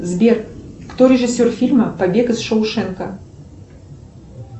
сбер кто режиссер фильма побег из шоушенка